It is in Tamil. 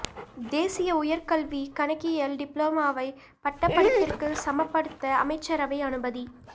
தேசிய உயர் கல்வி கணக்கியல் டிப்ளோமாவை பட்டப்படிப்பிற்கு சமப்படுத்த அமைச்சரவை அனுமதி